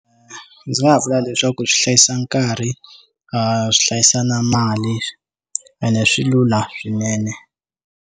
Ndzi nga vula leswaku swi hlayisa nkarhi a swi hlayisa na mali ene swi lula swinene.